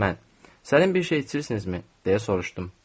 Mən, sənin bir şey içirsinizmi, deyə soruşdum.